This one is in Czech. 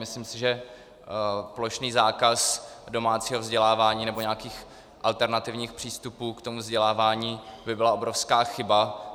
Myslím si, že plošný zákaz domácího vzdělávání nebo nějakých alternativních přístupů k tomu vzdělávání by byla obrovská chyba.